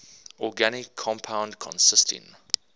organic compound consisting